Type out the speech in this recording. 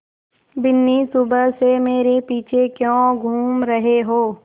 बिन्नी सुबह से मेरे पीछे क्यों घूम रहे हो